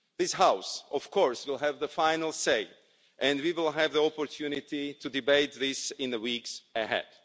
This House will of course have the final say and we will have the opportunity to debate this in the weeks ahead.